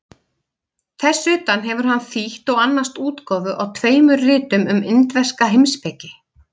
Þess utan hefur hann þýtt og annast útgáfu á tveimur ritum um indverska heimspeki.